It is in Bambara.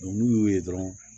n'u y'u ye dɔrɔn